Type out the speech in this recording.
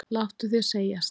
Láttu þér segjast!